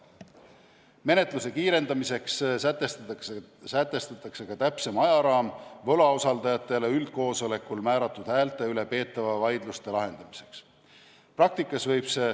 Menetluse kiirendamiseks sätestatakse ka täpsem ajaraam võlausaldajatele üldkoosolekul määratud häälte üle peetavate vaidluste lahendamiseks.